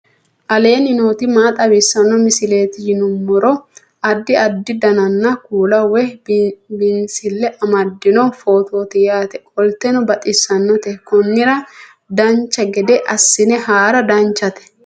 aleenni nooti maa xawisanno misileeti yinummoro addi addi dananna kuula woy biinsille amaddino footooti yaate qoltenno baxissannote konnira dancha gede assine haara danchate